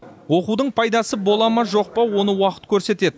оқудың пайдасы бола ма жоқ па оны уақыт көрсетеді